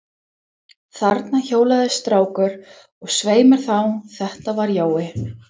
Þarna hjólaði strákur, og svei mér þá, þetta var Jói.